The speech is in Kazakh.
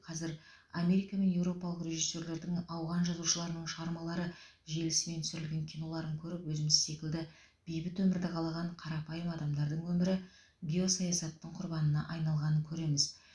қазір америка мен европалық режиссерлердің ауған жазушыларының шығармалары желісімен түсірілген киноларын көріп өзіміз секілді бейбіт өмірді қалаған қарапайым адамдардың өмірі геосаясаттың құрбанына айналғанын көреміз